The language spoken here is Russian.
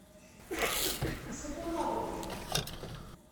сапуновым